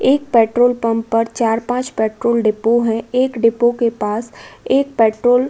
एक petrol pump पर चार-पाँच पेट्रोल डिपो हैं। एक डिपो के पास एक पेट्रोल --